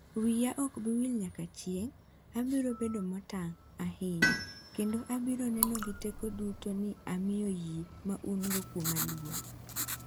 "Wiya ok abi wil nyaka chieng', abiro bedo motang' ahinya kendo abiro neno gi tekona duto ni amiyo yie ma un-go kuoma luor."""